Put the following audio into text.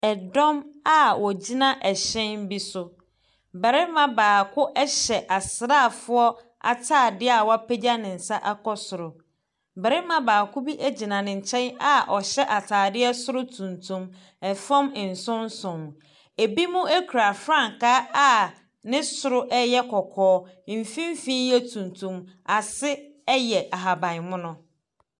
Dɔm a wɔgyina hyɛn bi so. Barima baako hyɛ asraafoɔ atadeɛ a wapagya ne nsa akɔ soro. Barima baako bi gyina ne nkyɛn a ɔhyɛ atadeɛ soro tuntum, fam nsonson. Ebinom kura frankaa a ne soro yɛ kɔkɔɔ, mfimfin yɛ tuntum, ase yɛ ahaban mono.